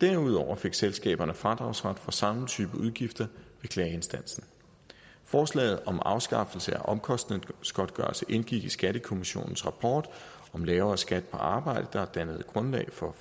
derudover fik selskaberne fradragsret for samme type udgifter ved klageinstansen forslaget om afskaffelse af omkostningsgodtgørelse indgik i skattekommissionens rapport lavere skat på arbejde der dannede grundlag for